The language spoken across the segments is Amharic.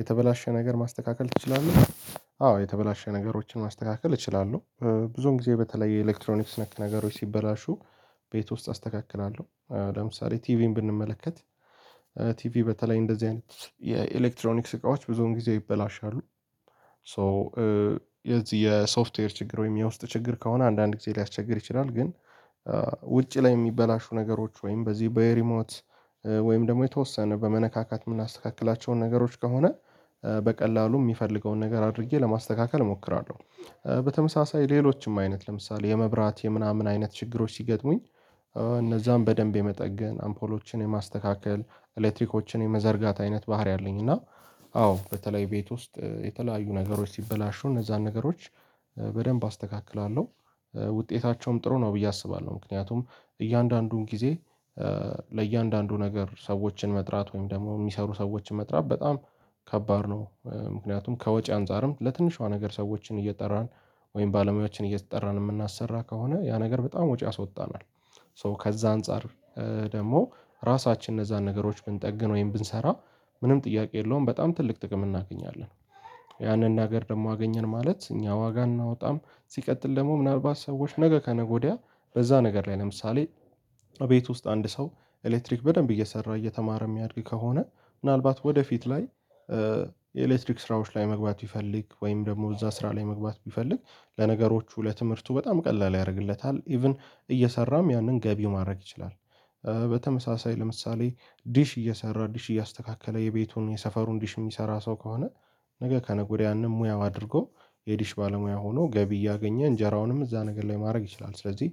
የተበላሸ ነገር ማስተካከል ትችላለህ? አዎ የተበላሸ ነገሮችን ማስተካከል እችላለሁ ብዙውን ጊዜ በተለይ የኤሌክትሮኒክስ ነክ ነገሮች ሲበላሹ ቤት ውስጥ አስተካክላለሁ ለምሳሌ ቲቪን ብንመለከት ቲቪ በተለይ እንደዚህ አይነት የኤሌክትሮኒክስ እቃዎች ብዙውን ጊዜ ይበላሻሉ ሶ የዚህ የሶፍትዌር ችግር ወይም የውስጥ ችግር ከሆነ አንዳንድ ጊዜ ሊያስቸግር ይችላል ግን ውጪ ላይ የሚበላሹ ነገሮች ወይም በዚህ በየሪሞት ወይም ደግሞ የተወሰነ በመነካካት የምናስተካክላቸውን ነገሮች ከሆነ በቀላሉ የሚፈልገውን ነገር አድርጌ ለማስተካከል እሞክራለሁ በተመሳሳይ ሌሎችም አይነት ለምሳሌ የመብራት የምናምን አይነት ችግሮች ሲገጥሙኝ እነዛን በደንብ የመጠገን አምፖሎችን የማስተካከል ኤሌክትሪኮችን የመዘርጋት አይነት ባህሪ አለኝ እና አዎ በተለይ ቤት ውስጥ የተለያዩ ነገሮች ሲበላሹ እነዛን ነገሮች በደንብ አስተካክላለሁ ውጤታቸውም ጥሩ ነው ብዬ አስባለሁ ምክንያቱም እያንዳንዱን ጊዜ ለእያንዳንዱ ነገር ሰዎችን መጥራት ወይም ደግሞ የሚሰሩ ሰዎችን መጥራት በጣም ከባድ ነው ምክንያቱም ከወጪ አንፃርም ለትንሽዋ ነገር ሰዎችን እየጠራን ወይም ባለሙያዎችን እየተጠራን የምናሰራ ከሆነ ያ ነገር በጣም ወጪ አስወጣናል ሶ ከዛ አንፃር ደግሞ ራሳችን እነዛን ነገሮች ብንጠግን ወይም ብንሰራ ምንም ጥያቄ የለውም በጣም ትልቅ ጥቅም እናገኛለን ያንን ነገር ደግሞ አገኘን ማለት እኛ ዋጋ እናወጣም ሲቀጥል ደግሞ ምናልባት ሰዎች ነገ ከነገ ወዲያ በዛ ነገር ላይ ለምሳሌ አቤት ውስጥ አንድ ሰው ኤሌክትሪክ በደንብ እየሰራ እየተማረ የሚያድግ ከሆነ ምናልባት ወደፊት ላይ የኤሌክትሪክ ስራዎች ላይ መግባት ቢፈልግ ወይም ደግሞ እዛ ስራ ላይ መግባት ቢፈልግ ለነገሮቹ ለትምህርቱ በጣም ቀላል ያደርግለታል ኢቭን እየሰራም ያንን ገቢው ማድረግ ይችላል በተመሳሳይ ለምሳሌ ዲሽ እየሰራ ዲሽ እያስተካከለ የቤቱን የሰፈሩን ዲሽ የሚሰራ ሰው ከሆነ ነገ ከነገ ወዲያ ያንን ሙያው አድርጎ የዲሽ ባለሙያ ሆኖ ገቢ እያገኘ እንጀራውንም እዛ ነገር ላይ ማድረግ ይችላል፤ ስለዚህ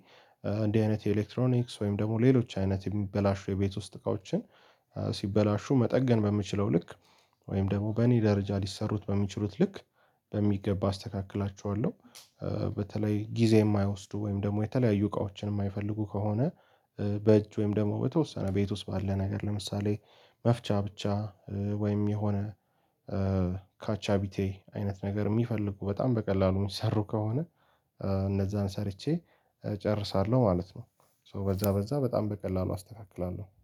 እንዲህ አይነት የኤሌክትሮኒክስ ወይም ደግሞ ሌሎች አይነት የሚበላሹ የቤት ውስጥ እቃዎችን ሲበላሹ መጠገን በምችለው ልክ ወይም ደግሞ በእኔ ደረጃ ሊሰሩት በሚችሉት ልክ በሚገባ አስተካክላችኋለሁ፤ በተለይ ጊዜ የማያወስዱ ወይም ደግሞ የተለያዩ እቃዎችን የማይፈልጉ ከሆነ በእጅ ወይም ደግሞ በተወሰነ ቤት ውስጥ ባለ ነገር ለምሳሌ መፍቻ ብቻ ወይም የሆነ ካቻቢቴ አይነት ነገር የሚፈልጉ በጣም በቀላሉ የሚሰሩ ከሆነ እነዛን ሰርቼ እጨርሳለሁ ማለት ነው፤ ሶ በዛ በዛ በጣም በቀላሉ አስተካክላለሁ።